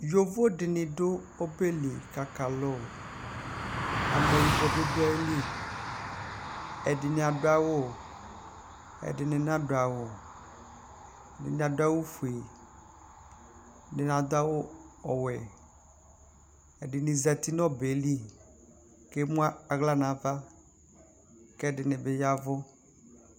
Yovo dinidʋ ɔbeli kʋ aka alʋ amɛyibɔbi dʋ ayili ɛdini adʋ awʋ ɛdini nadʋ awʋ ɛdini adʋ awʋgue ɛdini adʋ awʋ ɔwɛ ɛdini zati nʋ ɔbɛli kʋ emʋnʋ aɣla nʋ ava kʋ ɛfini bi ya ɛvʋ